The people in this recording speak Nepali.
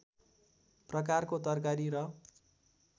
प्रकारको तरकारी र